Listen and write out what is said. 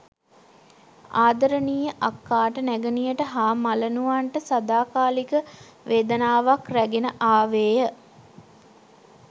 ආදරණීය අක්කාට නැගණියට හා මලනුවන්ට සදාකාලික වේදනාවක් රැගෙන ආවේය.